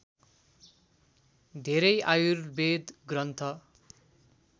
धेरै आयुर्वेद ग्रन्थ